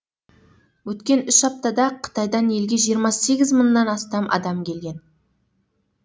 өткен үш аптада қытайдан елге жиырма сегіз мыңнан астам адам келген